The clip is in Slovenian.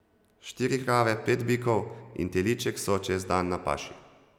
Štiri krave, pet bikov in teliček so čez dan na paši.